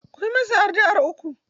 Ku yi masa addu'ar uku!